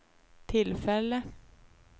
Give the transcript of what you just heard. tillfälle